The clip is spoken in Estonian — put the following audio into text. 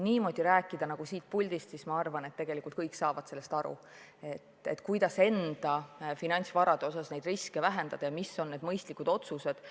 Ma arvan, et siin saalis tegelikult kõik saavad aru, kuidas enda finantsvarade osas riske vähendada ja mis on mõistlikud otsused.